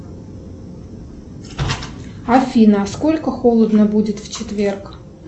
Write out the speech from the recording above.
афина сколько холодно будет в четверг